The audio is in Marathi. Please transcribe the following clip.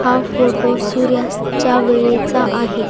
हा फोटो सूर्यास्त च्या वेळेचा आहे.